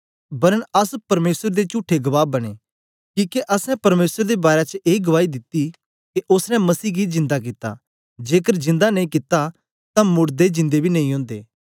वरन अस परमेसर दे चुठे गवाह बनें किके असैं परमेसर दे बारै च ए गुआई दित्ती के ओसने मसीह गी जिंदा कित्ता जेकर जिंदा नेई कित्ता तां मोड़दे जिन्दे बी नेई ओदे